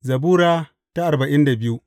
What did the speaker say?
Zabura Sura arba'in da biyu